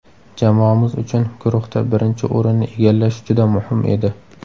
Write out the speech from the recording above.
Jamoamiz uchun guruhda birinchi o‘rinni egallash juda muhim edi.